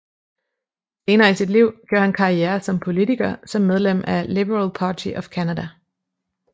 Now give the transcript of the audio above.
Senere i sit liv gjorde han karriere som politiker som medlem af Liberal Party of Canada